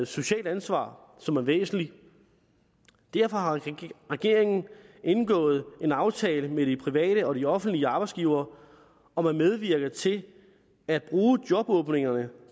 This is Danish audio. socialt ansvar som er væsentligt derfor har regeringen indgået en aftale med de private og de offentlige arbejdsgivere om at medvirke til at bruge jobåbningerne